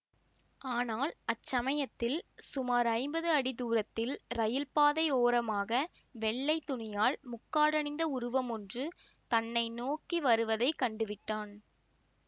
ஆனால் அச்சமயத்தில் சுமார் ஐம்பது அடி தூரத்தில் ரயில் பாதை ஓரமாக வெள்ளை துணியால் முக்காடணிந்த உருவம் ஒன்று தன்னை நோக்கி வருவதை கண்டுவிட்டான்